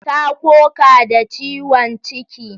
Ta koka da ciwon ciki.